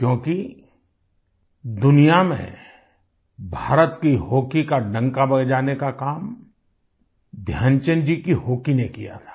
क्योंकि दुनिया में भारत की हॉकी का डंका बजाने का काम ध्यानचंद जी की हॉकी ने किया था